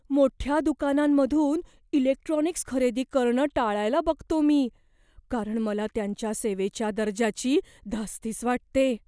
मोठ्या दुकानांमधून इलेक्ट्रॉनिक्स खरेदी करणं टाळायला बघतो मी, कारण मला त्यांच्या सेवेच्या दर्जाची धास्तीच वाटते.